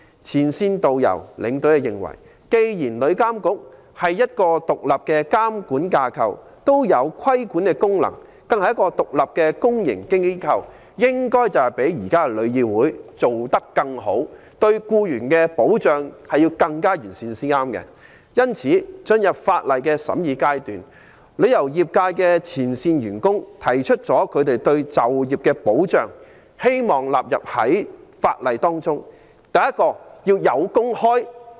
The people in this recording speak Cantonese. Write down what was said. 前線導遊、領隊認為，旅監局作為一個獨立的監管架構，具備規管功能，更是一個獨立的公營機構，應該較現時的旅議會做得更好，為僱員提供更完善的保障。進入《條例草案》的審議階段，旅遊業界前線員工希望把就業保障納入《條例草案》。